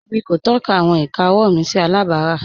Émi kò tọ̀kà àwọn ìkà ọ̀wọ́ mi sí àlàbárà.